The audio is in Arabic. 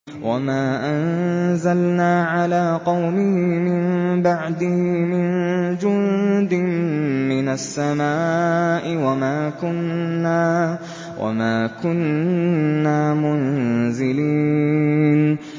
۞ وَمَا أَنزَلْنَا عَلَىٰ قَوْمِهِ مِن بَعْدِهِ مِن جُندٍ مِّنَ السَّمَاءِ وَمَا كُنَّا مُنزِلِينَ